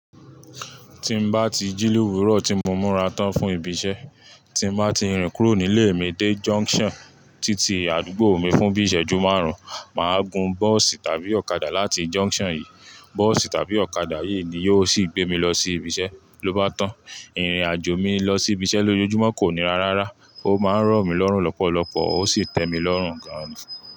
Tí mo bá ti jí lo wùúrú ọ̀ tí mo múra tán fún ibi iṣẹ́, tí mo bá ti rìn kúrò nílé mi dé junction títí àdúgbò mi fún bí iṣẹ́jú márùn-ún, mà á gun bọ́ọ̀sì tàbí ọ̀kadà láti junction yìí. Bọ́ọ̀sì tàbí ọ̀kadà yìí ni yóò sì gbé mi lọ sí ibi iṣẹ́ ló bá tán. Ìrìn àjò mi lọ sí ibi iṣẹ́ lójoojúmọ́ kò ní rá rárá. Ó máa ń ràn mí lọ́rùn lọ́pọ̀lọpọ̀ ó sì tẹ mi lọ́rùn gan.